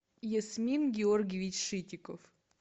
ясмин георгиевич шитиков